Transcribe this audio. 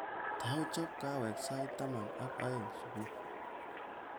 Tou chob kahawekab sait taman ak aeng subui